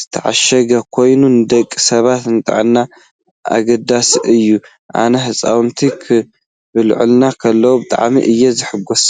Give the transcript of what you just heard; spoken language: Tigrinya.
ዝተዓሸገ ኮይኑ ንደቂ ሰባት ንጥዕና ኣገዳሲ እዩ። አናናስ ህፃውንቲ ክበልዕዎ ከለው ብጣዕሚ እዮም ዝሕጎሱ።